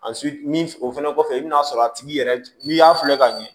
A min o fɛnɛ kɔfɛ i bi n'a sɔrɔ a tigi yɛrɛ n'i y'a filɛ ka ɲɛ